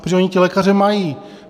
Protože oni ty lékaře mají.